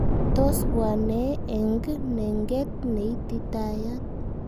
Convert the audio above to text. Tos bwanee eng nenget neititayat?